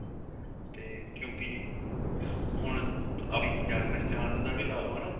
ਤੇ ਕਿਉਂਕਿ ਹੁਣ ਆਪਣੀ ਜਾਣ ਪਹਿਚਾਣ ਦਾ ਵੀ ਲਾ ਲੋ ਹਨਾ